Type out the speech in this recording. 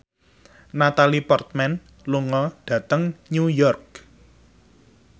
Natalie Portman lunga dhateng New York